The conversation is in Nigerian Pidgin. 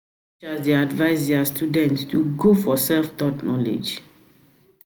dey advice their students to go for self-taught knowledge